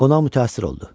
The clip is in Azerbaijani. Qonaq mütəəssir oldu.